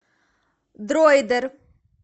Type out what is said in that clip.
дроидер